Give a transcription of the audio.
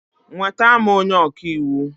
Nweta m onye ọka iwu!